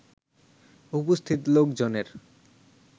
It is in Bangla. উপস্থিত লোকজনের